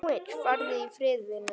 Farðu í friði, vinur.